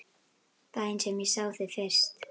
Daginn sem ég sá þig fyrst.